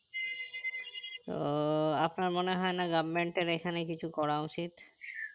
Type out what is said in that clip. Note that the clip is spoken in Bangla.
তো আপনার মনে হয়না government এর এখানে কিছু করা উচিত